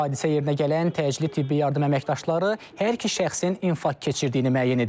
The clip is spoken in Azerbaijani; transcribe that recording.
Hadisə yerinə gələn təcili tibbi yardım əməkdaşları hər iki şəxsin infarkt keçirdiyini müəyyən edib.